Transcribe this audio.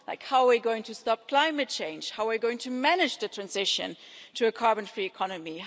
For example, how are we going to stop climate change? How are we going to manage the transition to a carbon-free economy?